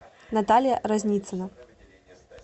наталья разницина